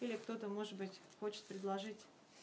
или кто-то может быть хочешь предложить